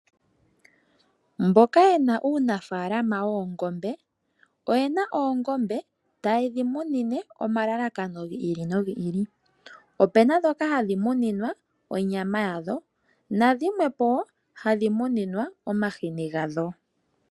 Mboka yena uunafaalama woongombe oyena oongombe tayedhi munine omalalakano gi ili nogi ili. Opena dhoka hadhi muninwa onyama yadho, nadhimwe po hadhi muninwa omahini gadho.